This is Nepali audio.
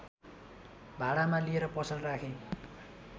भाडामा लिएर पसल राखे